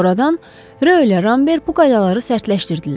Sonradan Rö ilə Rambert bu qaydaları sərtləşdirdilər.